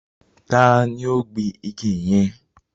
Tani ó gbin igi yẹn?